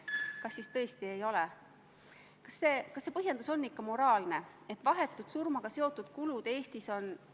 Juhin tähelepanu, et konkreetse eelnõu on esitanud Vabariigi Valitsus, kuhu kuulub ka teie erakond.